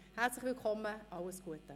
Herzlich willkommen und alles Gute!